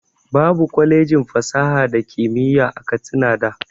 Babu kwalejin fasaha da kimiyya a katsina da